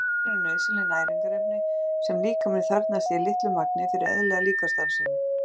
Steinefni eru nauðsynleg næringarefni sem líkaminn þarfnast í litlu magni fyrir eðlilega líkamsstarfsemi.